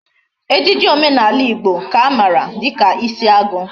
Ejiji omenala Igbo ka amara dika isiagu